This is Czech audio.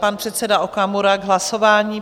Pan předseda Okamura k hlasování.